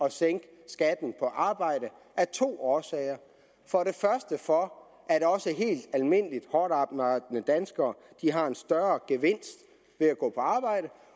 at sænke skatten på arbejde af to årsager for det første for at også helt almindelige hårdtarbejdende danskere har en større gevinst ved at gå på arbejde